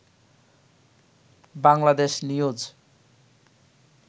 Bangladesh news